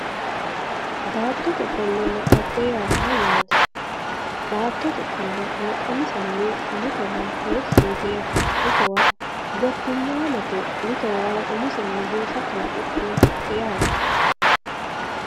Baattote ofollonna dhagge yaa mayyate, baattote ofollo kalaqamisenni mittowa heeshi yitinote mittowa gotimamete mitto isini umisenni buusa kalaqidhinote yaate.